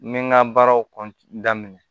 N bɛ n ka baaraw daminɛ